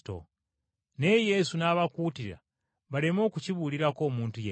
Naye Yesu n’abakuutira baleme okukibuulirako omuntu yenna!